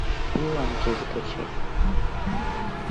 шпионки закачай